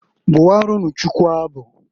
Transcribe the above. Bụwaranụ Chukwu abụ.